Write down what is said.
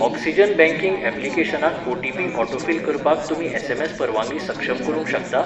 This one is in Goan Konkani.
ऑक्सिजन बँकिंग ऍप्लिकेशनाक ओटीपी ऑटोफिल करपाक तुमी एसएमएस परवानगी सक्षम करूंक शकता?